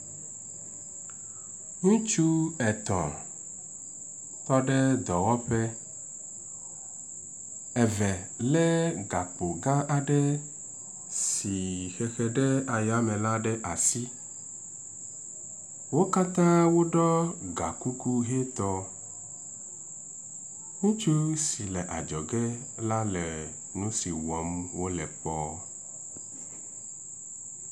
Ŋutsu etɔ̃ tɔ ɖe dɔwɔƒe. eve le gakpo gã aɖe si hehe ɖe ayame la ɖe asi. Wo katã woɖɔ ga kuku ʋi tɔ. Ŋutsu si le adzɔge la le nu si wɔm wo le kpɔ.